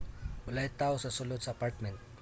walay tawo sa sulod sa apartment